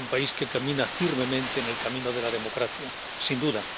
Es un país que camina firmemente en el camino de la democracia, sin duda.